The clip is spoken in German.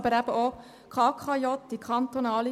Betroffen ist aber auch die KKJ.